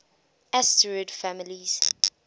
asterid families